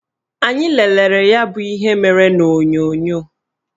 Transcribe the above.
Anyị lelere ya bụ ihe mere n'onyonyo